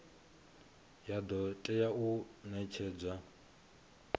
ya do tea u netshedzwa